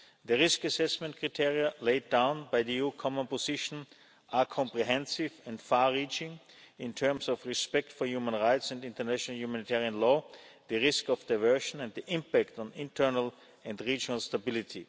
The risk assessment criteria laid down by the EU Common Position are comprehensive and far reaching in terms of respect for human rights and international humanitarian law, the risk of diversion and the impact on internal and regional stability.